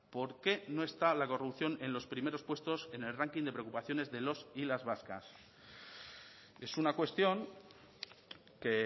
por qué no está la corrupción en los primeros puestos en el ranking de preocupaciones de los y las vascas es una cuestión que